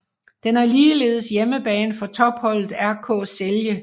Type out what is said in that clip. Den er ligeledes hjemmebane for topholdet RK Celje